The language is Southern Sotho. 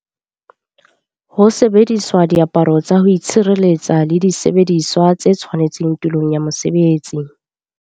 Ho sebedisa diaparo tsa ho itshireletsa le disebediswa tse tshwanetseng tulong ya mosebetsi.